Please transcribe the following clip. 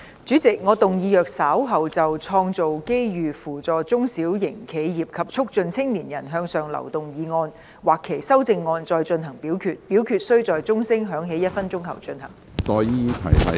主席，我動議若稍後就"創造機遇扶助中小型企業及促進青年人向上流動"所提出的議案或修正案再進行點名表決，表決須在鐘聲響起1分鐘後進行。